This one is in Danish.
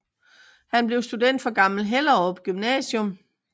Han blev student fra Gammel Hellerup Gymnasium